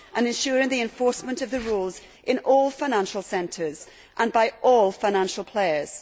and ensuring the enforcement of the rules in all financial centres and by all financial players.